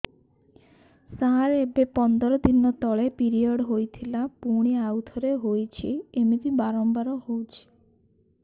ସାର ଏବେ ପନ୍ଦର ଦିନ ତଳେ ପିରିଅଡ଼ ହୋଇଥିଲା ପୁଣି ଆଉଥରେ ହୋଇଛି ଏମିତି ବାରମ୍ବାର ହଉଛି